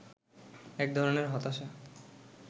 এক ধরনের হতাশা